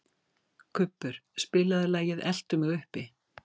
Kubbur, spilaðu lagið „Eltu mig uppi“.